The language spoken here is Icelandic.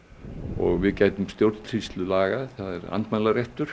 og við gætum stjórnsýslulaga það er andmælaréttur